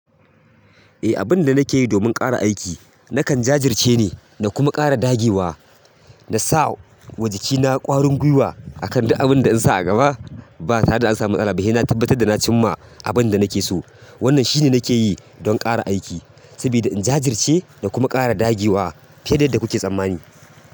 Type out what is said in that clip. Eh, abinda nake yi domin ƙara aiki nakan jajirce ne da kuma ƙara dagewa. Da sa wa jikina ƙwarin gwiwa akan duk abinda na sa a gaba bata re da an samu matsala ba sai na tabbatar da na cimma abin da nake so. Wannan shine nake yi don ƙara aiki sabida in jajirce da kuma ƙara dagewa fiye da yanda kuke tsammani.